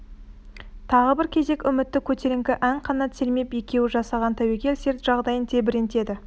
тағы бір кезек үмітті көтеріңкі ән қанат сермеп екеуі жасаған тәуекел серт жайын тебірентеді